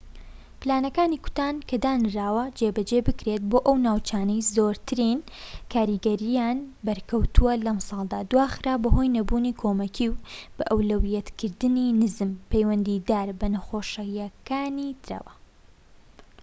پلانەکانی کوتان کە دانراوە جێبەجێ بکرێت بۆ ئەو ناوچانەی زۆرترین کاریگەریان بەرکەوتووە لەمساڵدا دواخرا بەهۆی نەبوونی کۆمەکی و بەئەولەویەتکردنی نزم پەیوەندیدار بە نەخۆشیەکانی ترەوە